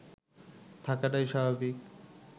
থাকাটাই স্বাভাবিক